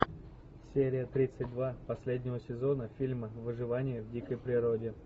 серия тридцать два последнего сезона фильма выживание в дикой природе